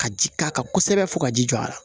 Ka ji k'a kan kosɛbɛ fo ka ji jɔ a la